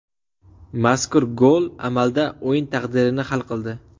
Mazkur gol amalda o‘yin taqdirini hal qildi.